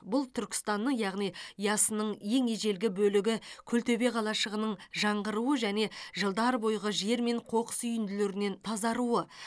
бұл түркістанның яғни ясының ең ежелгі бөлігі күлтөбе қалашығының жаңғыруы және жылдар бойғы жер мен қоқыс үйінділерінен тазаруы